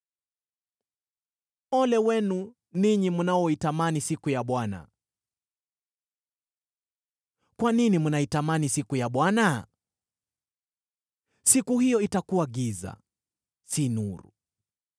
Ole wenu ninyi mnaoitamani siku ya Bwana ! Kwa nini mnaitamani siku ya Bwana ? Siku hiyo itakuwa giza, si nuru.